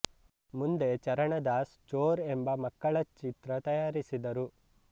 ಮುಂದೆ ಚರಣದಾಸ್ ಚೋರ್ ಎಂಬ ಎಂಬ ಮಕ್ಕಳ ಚಿತ್ರ ತಯಾರಿಸಿದರು